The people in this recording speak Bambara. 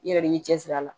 I yɛrɛ de b'i cɛsiri a la